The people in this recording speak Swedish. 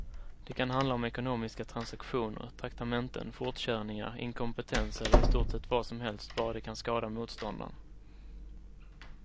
De kan handla om ekonomiska transaktioner, traktamenten, fortkörningar, inkompetens eller i stort sett vad som helst bara det kan skada motståndaren.